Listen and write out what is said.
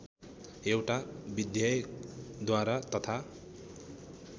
एउटा विधेयकद्वारा तथा